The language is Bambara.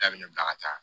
K'a bɛ ne bila ka taa